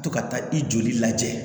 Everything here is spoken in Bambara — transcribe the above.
To ka taa i joli lajɛ